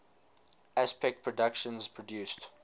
aspect productions produced